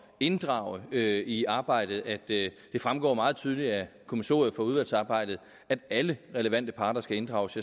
inddrage i arbejdet at det fremgår meget tydeligt af kommissoriet for udvalgsarbejdet at alle relevante parter skal inddrages